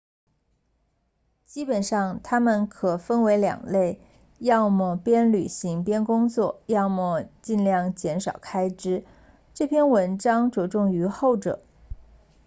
基本上它们可分为两类要么边旅行边工作要么尽量减少开支这篇文章着重于后者